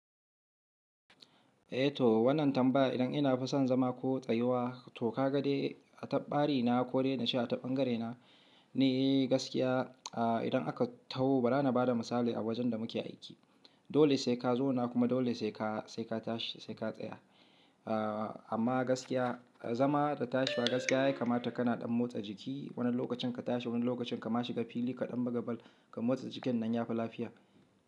Eh to wannan tambaya idan ina fi son zama ko tsayuwa, to ka ga dai a ta ɓari na ko dai na ce a ta ɓangare na ni gaskiya idan aka taho bara bada misali a wajen da muke aiki, dole sai ka zauna kuma dole sai ka sai ka tashi sai ka tsaya amma gaskiya, zama da tashi gaskiya ya kamata kana ɗan motsa jiki wani lokacin ka tashi wani lokacin ka ma shiga fili ka ɗan buga bal, ka motsa jikin nan ya fi lafiya.